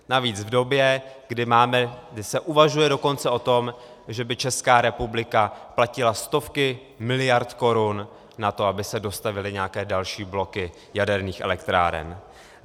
Navíc v době, kdy se uvažuje dokonce o tom, že by Česká republika platila stovky miliard korun na to, aby se dostavěly nějaké další bloky jaderných elektráren.